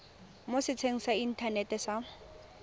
mo setsheng sa inthanete sa